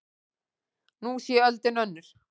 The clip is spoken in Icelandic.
Nú sé öldin önnur.